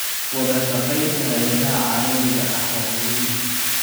Wadashaqeynta hay'adaha caalamiga ah waa muhiim.